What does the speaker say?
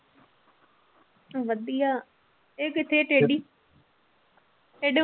ਵਧੀਆ ਇਹ ਕਿੱਥੇ ਟੇਢੀ ਟੇਢੇ